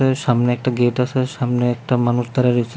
সামনে একটা গেট আসে সামনে একটা মানুষ দাঁড়ায় রইছে।